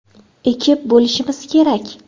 ekib bo‘lishimiz kerak.